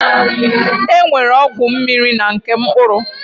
E nwere ọgwụ mmiri na nke mkpụrụ.